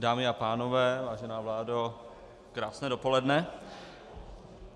Dámy a pánové, vážená vládo, krásné dopoledne.